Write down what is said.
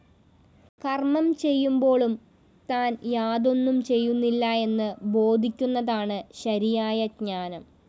കര്‍മ്മംചെയ്യുമ്പോളും താന്‍ യാതൊന്നുംചെയ്യുന്നില്ല എന്ന് ബോധിക്കുന്നതാണ് ശരിയായ ജ്ഞാനം